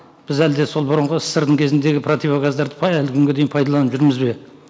біз әлде сол бұрынғы ссср дің кезіндегі противогаздарды әлі күнге дейін пайдаланып жүрміз бе